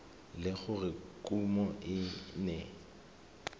le gore kumo e ne